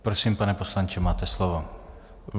Prosím, pane poslanče, máte slovo.